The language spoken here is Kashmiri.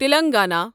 تِلنٛگانا